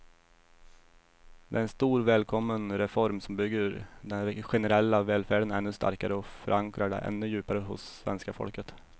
Det är en stor, välkommen reform som bygger den generella välfärden ännu starkare och förankrar den ännu djupare hos svenska folket.